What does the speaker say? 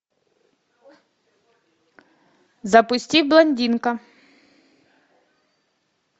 запусти блондинка